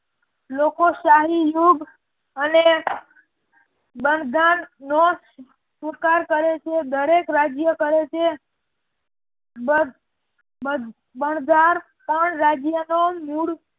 લોકો સહિયોગ અને બંજર નો સ્વીકાર કરે છે દરેક રાજ્ય કહે છે બંજારપણ રાજ્ય નો મૂળ